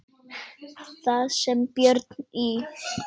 Þar sem Björn í